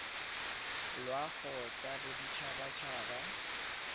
loago tsa bodit habat haba